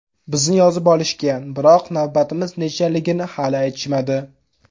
Bizni yozib olishgan, biroq navbatimiz nechaligini hali aytishmadi.